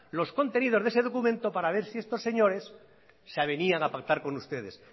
los contenidos de ese documento para ver si esos señores se avenían a pactar con ustedes